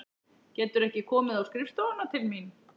Geturðu ekki komið á skrifstofuna til mín?